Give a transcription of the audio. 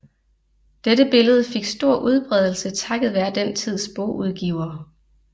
Dette billede fik stor udbredelse takket være den tids bogudgivere